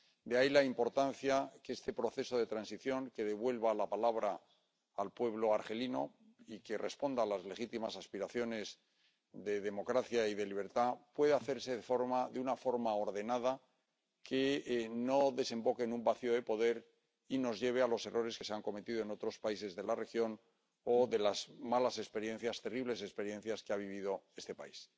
De ahí la importancia de que este proceso de transición, que devuelva la palabra al pueblo argelino y responda a las legítimas aspiraciones de democracia y de libertad, pueda hacerse de una forma ordenada, que no desemboque en un vacío de poder y nos lleve a los errores que se han cometido en otros países de la región o a las malas experiencias, terribles experiencias, que ha vivido este país.